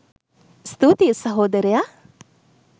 ස්තුතියි සහෝදරයා